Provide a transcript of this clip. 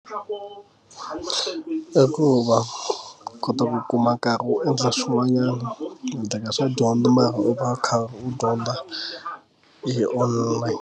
I ku va kota ku kuma nkarhi u endla swin'wanyana u endleka swa dyondzo mara u va u kha u dyondza hi one.